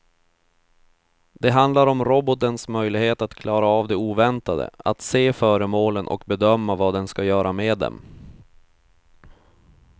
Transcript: Det handlar om robotens möjlighet att klara av det oväntade, att se föremålen och bedöma vad den ska göra med dem.